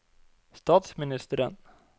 statsministeren